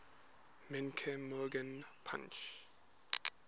menke morgan punch